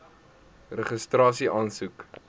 registrasieaansoek